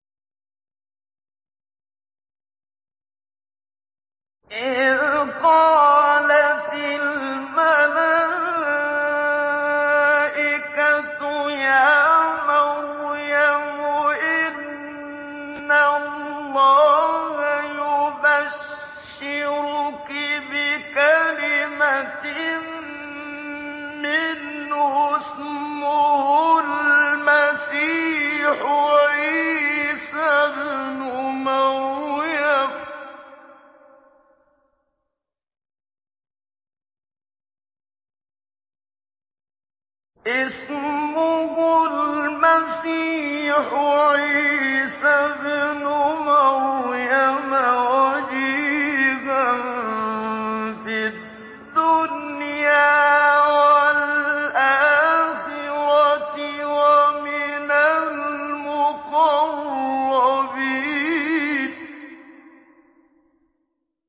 إِذْ قَالَتِ الْمَلَائِكَةُ يَا مَرْيَمُ إِنَّ اللَّهَ يُبَشِّرُكِ بِكَلِمَةٍ مِّنْهُ اسْمُهُ الْمَسِيحُ عِيسَى ابْنُ مَرْيَمَ وَجِيهًا فِي الدُّنْيَا وَالْآخِرَةِ وَمِنَ الْمُقَرَّبِينَ